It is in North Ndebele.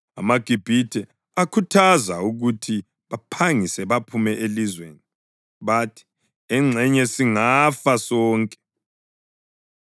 AmaGibhithe akhuthaza ukuthi baphangise baphume elizweni. Bathi, “Engxenye singafa sonke!”